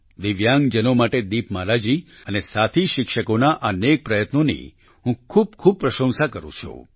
દિવ્યાંગ જનો માટે દીપમાલા જી અને સાથી શિક્ષકોના આ નેક પ્રયત્નોની હું ખૂબખૂબ પ્રશંસા કરું છું